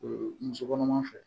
muso kɔnɔma fɛ